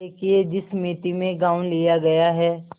देखिए जिस मिती में गॉँव लिया गया है